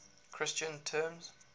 christian terms